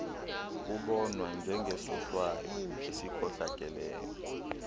kubonwa njengesohlwayo esikhohlakeleyo